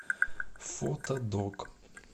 фотодок